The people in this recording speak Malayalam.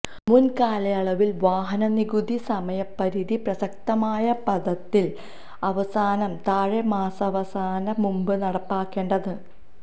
മുൻ കാലയളവിൽ വാഹന നികുതി സമയപരിധി പ്രസക്തമായ പാദത്തിൽ അവസാനം താഴെ മാസാവസാനം മുമ്പ് നടപ്പാക്കേണ്ടത്